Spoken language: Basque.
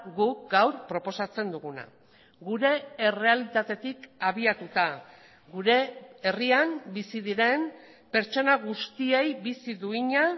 guk gaur proposatzen duguna gure errealitatetik abiatuta gure herrian bizi diren pertsona guztiei bizi duina